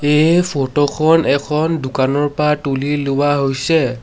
এই ফটো খন এখন দোকানৰ পা তুলি লোৱা হৈছে।